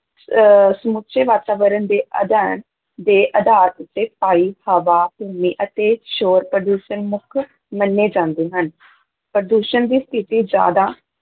ਅਹ ਸਮੁੱਚੇ ਵਾਤਾਵਰਨ ਦੇ ਅਧਿਐਨ ਦੇ ਆਧਾਰ ਉੱਤੇ ਪਾਈ, ਹਵਾ, ਭੂਮੀ ਅਤੇ ਸ਼ੋਰ-ਪ੍ਰਦੂਸ਼ਣ ਮੁੱਖ ਮੰਨੇ ਜਾਂਦੇ ਹਨ ਪ੍ਰਦੂਸ਼ਣ ਦੀ ਸਥਿਤੀ ਜ਼ਿਆਦਾ